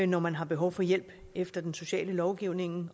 når man har behov for hjælp efter den sociale lovgivning